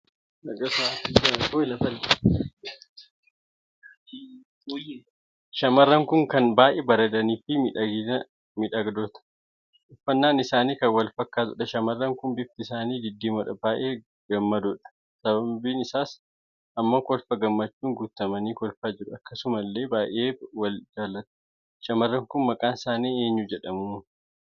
Shamarran kun kan baay'ee bareedanii fi miidhaganiidha. uffannaan isaanii kan wal fakkaatuudha shamarran kun bifti isaanii diddiimoodha. baay'ee gammadoodha Sababin isaa ammoo kolfa gammachuun guutamanii kolfaa jiru. akkasumallee baay'ee Wal jaallatu shamarran kun maqaan isaanii eenyuu jedhamu